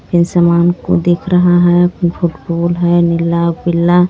सामान को दिख रहा हे फुटबोल हे नीला पीला.